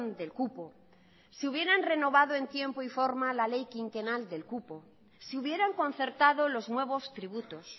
del cupo si hubieran renovado en tiempo y forma la ley quinquenal del cupo si hubieran concertado los nuevos tributos